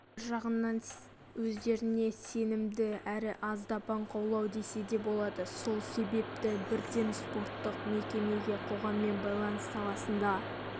олар бір жағынан өздеріне сенімді әрі аздап аңқаулау деуге болады сол себепті бірден спорттық мекемеге қоғаммен байланыс саласында